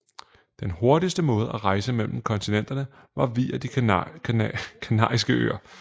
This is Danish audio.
Den hurtigste måde at rejse mellem kontinenterne var via De Kanariske Øer